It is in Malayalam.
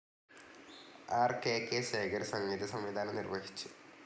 ആർ കെ കെ ശേഖർ സംഗീതസംവിധാനം നിർവഹിച്ചു